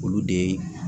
Olu de